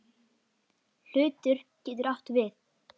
Hlutur getur átt við